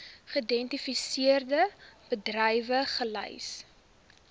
geïdentifiseerde bedrywe gelys